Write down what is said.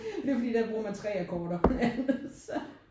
Det er jo fordi der bruger man 3 akkorder